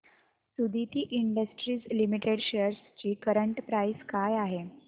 Suditi industries limited shares ची current price काय आहे